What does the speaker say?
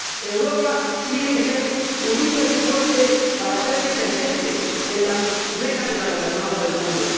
Europa tiene que estar unida y ser fuerte para hacerse presente en las mesas de la gobernanza del mundo.